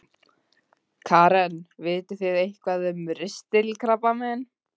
Karen: Vitið þið eitthvað um ristilkrabbamein?